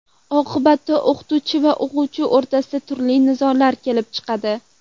Oqibatda o‘qituvchi va o‘quvchi o‘rtasida turli nizolar kelib chiqadi.